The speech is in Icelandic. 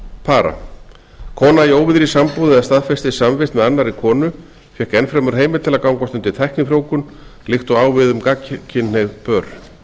para kona í óvígðri sambúð eða staðfestri samvist með annarri konu fékk enn fremur heimild til að gangast undir tæknifrjóvgun líkt og á við um gagnkynhneigð pör við